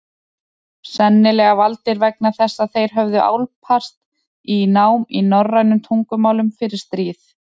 Sennilega valdir vegna þess að þeir höfðu álpast í nám í norrænum tungumálum fyrir stríð.